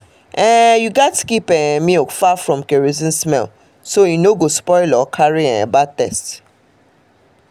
you gats um keep um milk far from kerosene smell so e no go spoil or carry um bad taste